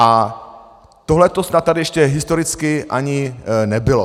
A tohleto snad tady ještě historicky ani nebylo.